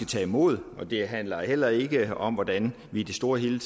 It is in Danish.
tage imod det handler heller ikke om hvordan vi i det store hele